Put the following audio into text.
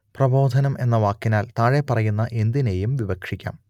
പ്രബോധനം എന്ന വാക്കിനാൽ താഴെപ്പറയുന്ന എന്തിനേയും വിവക്ഷിക്കാം